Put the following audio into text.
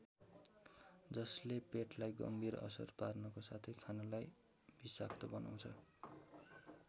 जसले पेटलाई गम्भीर असर पार्नको साथै खानालाई विषाक्त बनाउँछ।